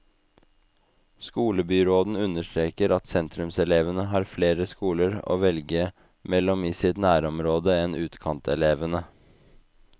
Skolebyråden understreker at sentrumselevene har flere skoler å velge mellom i sitt nærområde enn utkantelevene.